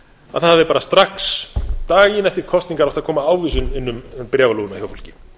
að það hafi bara strax daginn eftir kosningar átt að koma ávísun inn um bréfalúguna hjá fólki